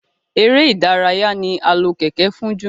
èrè ìdárayá ní a lò Kẹ̀kẹ́ fún jù